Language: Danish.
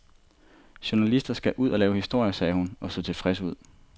Journalister skal ud og lave historier, sagde hun og så tilfreds ud.